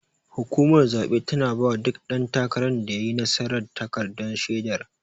Hukumar zabe tana bawa duk dan takaran da yayi nasara takardar shedar.